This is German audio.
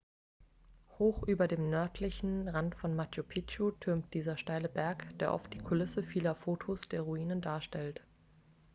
hoch über dem nördlichen rand von machu picchu türmt dieser steile berg der oft die kulisse vieler fotos der ruinen darstellt